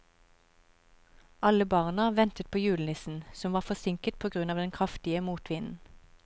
Alle barna ventet på julenissen, som var forsinket på grunn av den kraftige motvinden.